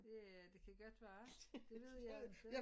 Ja det kan godt være det ved jeg altså ikke